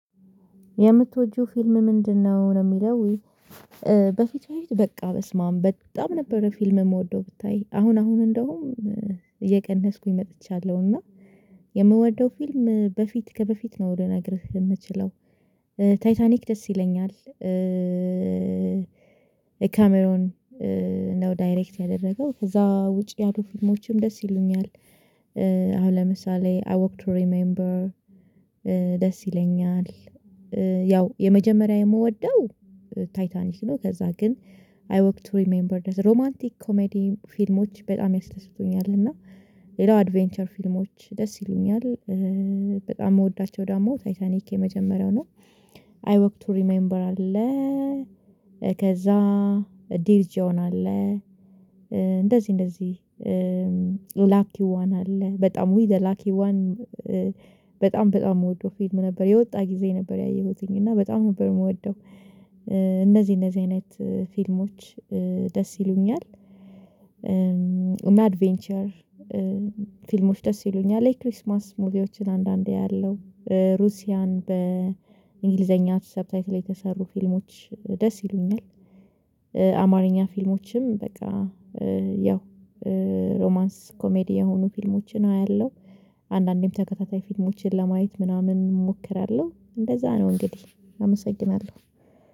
የምትወጂው ፊልም ምንድነው ነው የሚለው? በፊት በፊት በቃ በስማም በጣም ነበረ ፊልም የምወደው ብታይ አሁን አሁን እንደውም እየቀነስኩኝ መጥቻለሁ እና የምወደው ፊልም በፊት ከበፊት ነው ልነገርህ የምችለው ታይታኒክ ደስ ይለኛል። ካሜሮን ነው ዳይሬክት ያደረገው ከዛ ውጪ ያሉ ፊልሞችም ደስ ይሉኛል። አሁን ለምሳሌ አይ ወክ ቱ ሪሜምበር ደስ ይለኛል። ያው የመጀመሪያ የምወደው ታይታኒክ ነው። ከዛ ግን አይ ወክ ቱ ሪሜምበር ዛት ሮማንቲክ ኮሜዲ ፊልሞች በጣም ያስለስቱኛል። እና ሌላው አድቬንቸር ፊልሞች ደስ ይሉኛል። በጣም የምወዳቸው ደግሞ ታይታኒክ የመጀመሪያው ነው። አይ ወክ ቱ ሪመምበር አለ። ከዛ ዲርጅዋን አለ። እንደዚህ እንደዚህ ላኪዋን አለ በጣም ዊ ዘ ላኪ ዋን በጣም በጣም የምወደው ፊልም ነበር። የወጣ ጊዜ ነበር ያየሁትኝ እና በጣም ነበር የምወደው። እነዚህ እነዚህ አይነት ፊልሞች ደስ ይሉኛል። አድቬንቸር ፊልሞች ደስ ይሉኛል የክሪስማስ ሙቪዎችን አንዳንዴ ያለው ሩሲያን በእንግሊዘኛ ሰብታይትል የተሰሩ ፊልሞች ደስ ይሉኛል። አማርኛ ፊልሞችም በቃ ያው ሮማንስ ኮሜዲ የሆኑ ፊልሞችን አያለሁ። አንዳንዴም ተከታታይ ፊልሞችን ለማየት ምናምን እሞክራለሁ እንደዛ ነው እንግዲህ አመሰግናለሁ